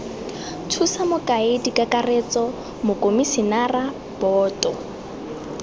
thusa mokaedi kakaretso mokomisinara boto